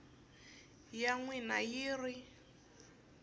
ya n wina hi ri